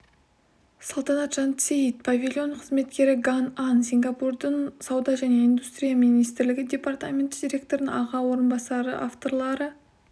салтанат жансейіт павильон қызметкері ган анн сингапурдың сауда және индустрия министрлігі департаменті директорының аға орынбасары авторлары